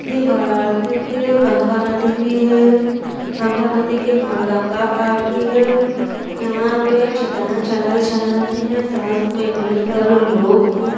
यह वाराणसी के गंगा नदी की है। गंगा नदी के मडगंगा घाट की है। यहाँ पर चिताएं जलाई जा रही है साथ में ढेर सारे लोग हैं।